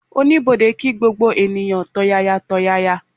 Oníbodè kí gbogbo ènìyàn tọ̀yàyàtọ̀yàyà